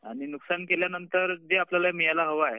आणि नुकसान केल्यानंतर जे आपल्याला मिळायला हवं आहे